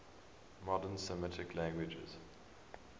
modern semitic languages